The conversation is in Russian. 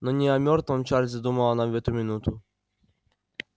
но не о мёртвом чарлзе думала она в эту минуту